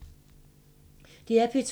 DR P2